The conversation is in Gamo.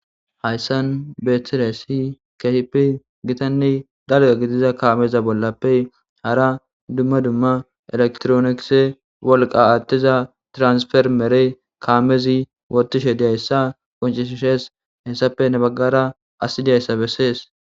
Haysan betizaysi kehippe gittane dalga gidiza kameza bollappe hara electricex wolqa athiza tirasformerey kamezi wothishe dizaysa qoncisise hesappe heni bagara asiy dizaysa beses